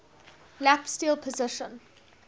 lap steel position